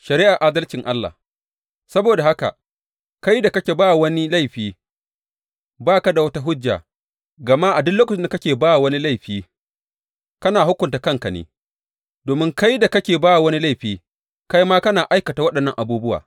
Shari’ar adalcin Allah Saboda haka, kai da kake ba wa wani laifi, ba ka da wata hujja, gama a duk lokacin da kake ba wa wani laifi, kana hukunta kanka ne, domin kai da kake ba wa wani laifi kai ma kana aikata waɗannan abubuwa.